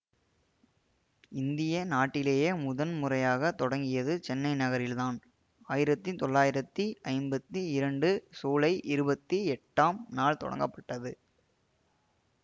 இந்திய நாட்டிலேயே முதன்முறையாக தொடங்கியது சென்னை நகரில்தான் ஆயிரத்தி தொளாயிரத்தி ஐம்பத்தி இரண்டு சூலை இருபத்தி எட்டுஆம் நாள் தொடங்கப்பட்டது